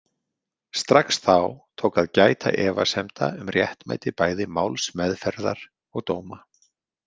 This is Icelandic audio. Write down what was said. Strax þá tók að gæta efasemda um réttmæti bæði málsmeðferðar og dóma.